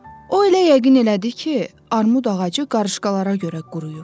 O elə yəqin elədi ki, armud ağacı qarışqalara görə quruyub.